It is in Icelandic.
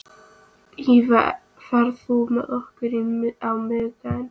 Ýlfa, ferð þú með okkur á miðvikudaginn?